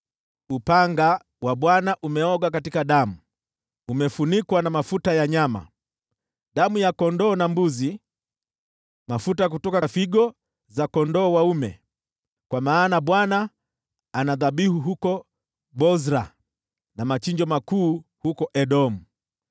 Upanga wa Bwana umeoga katika damu, umefunikwa na mafuta ya nyama: damu ya kondoo na mbuzi, mafuta kutoka figo za kondoo dume. Kwa maana Bwana ana dhabihu huko Bosra, na machinjo makuu huko Edomu.